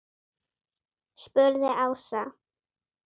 spurði Ása.